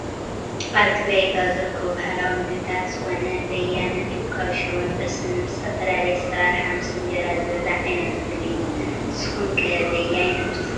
ኣብ ትግራይ ካብ ዝርከቡ ባህላዊ ምግቢታት ዝኮነ በያነቱ ካብ ሽሮን ብርስንን ብዝተፈላለዩ ኣሰራርሓ ምስ እንጀራ ዝብላዕ ዓይነት ምግቢ እዩ። ንስኩም ከ በያነቱ ትፈትዉ ዶ ?